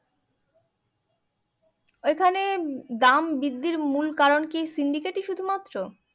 এখানে দাম বৃদ্ধির মূল কারণ কি সিন্ডিকেট ই শুধুমাত্র